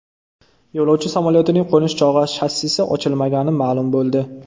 Yo‘lovchi samolyotining qo‘nish chog‘i shassisi ochilmagani ma’lum bo‘ldi.